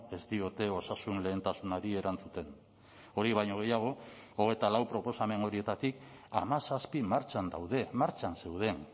ez diote osasun lehentasunari erantzuten hori baino gehiago hogeita lau proposamen horietatik hamazazpi martxan daude martxan zeuden